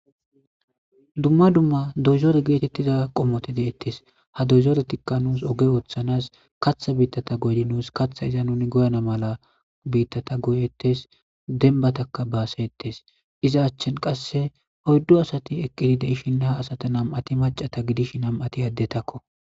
Duma duma doyzore qomoti deetes ha doyzoreyika nus oge othanas katha bitta nus katha nuniizan zerama mala bitta nus dembataka baasetes ist qase oydu asati eqidi de'ishi ha asati qsse nam'ati macata gidishi mam'ati adetako